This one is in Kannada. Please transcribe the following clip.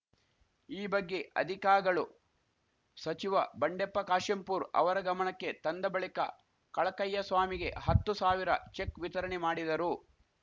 ಈ ಬಗ್ಗೆ ಅಧಿಕಾಗಳು ಸಚಿವ ಬಂಡೆಪ್ಪ ಕಾಶೆಂಪೂರ ಅವರ ಗಮಣಕ್ಕೆ ತಂದ ಬಳಿಕ ಕಳಕಯ್ಯಸ್ವಾಮಿಗೆ ಹತ್ತು ಸಾವಿರ ಚೆಕ್‌ ವಿತರಣೆ ಮಾಡಿದರು